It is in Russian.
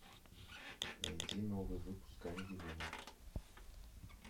найди новый выпуск камеди вумен